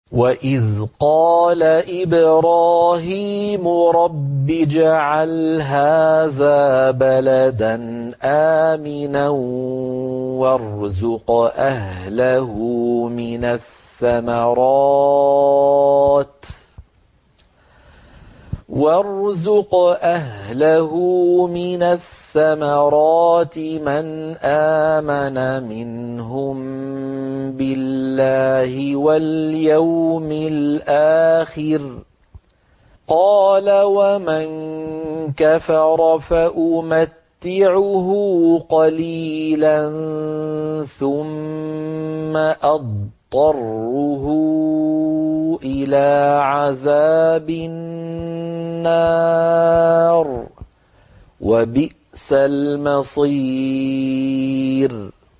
وَإِذْ قَالَ إِبْرَاهِيمُ رَبِّ اجْعَلْ هَٰذَا بَلَدًا آمِنًا وَارْزُقْ أَهْلَهُ مِنَ الثَّمَرَاتِ مَنْ آمَنَ مِنْهُم بِاللَّهِ وَالْيَوْمِ الْآخِرِ ۖ قَالَ وَمَن كَفَرَ فَأُمَتِّعُهُ قَلِيلًا ثُمَّ أَضْطَرُّهُ إِلَىٰ عَذَابِ النَّارِ ۖ وَبِئْسَ الْمَصِيرُ